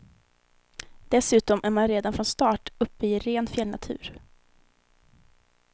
Dessutom är man redan från start uppe i ren fjällnatur.